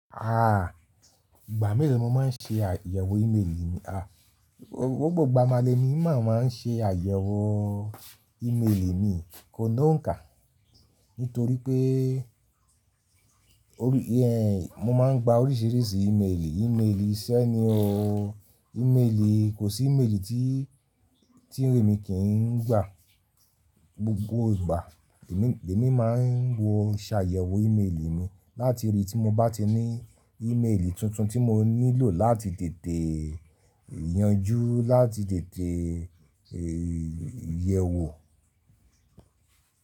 À, ìgbà mélòó ni mo máa ń ṣe àyẹ̀wò ímélì mi? À, gbogbo ìgbà ma lemi ma máa ń ṣe àyẹ̀wò ímélì mi, ko lóǹkà. Nítorí pé mo máa ń gba oríṣìíríṣìí ímélì, ímélì iṣẹ́ ni o, ímélì, kò sí ímélì tí, tí èmi kì í ń gba. Gbogbo ìgbà èmi máa ń wo ṣààyẹ̀wò ímélì mi láti rí tí mo bá ti ní ímélì tuntun tí mo nílò láti tètè yanjú, láti tètè yẹ̀wò.